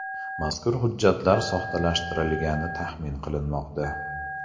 Mazkur hujjatlar soxtalashtirilgani taxmin qilinmoqda.